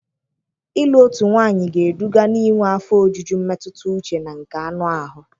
Ịlụ otu nwanyị ga-eduga n'inwe afọ ojuju mmetụta uche na nke anụ ahụ.